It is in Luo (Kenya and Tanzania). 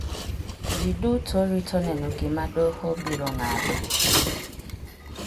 Ji duto rito neno gima doho biro ng'ado.